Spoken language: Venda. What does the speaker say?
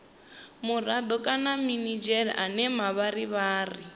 murado kana minidzhere ane mavharivhari